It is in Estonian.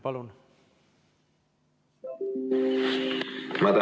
Palun!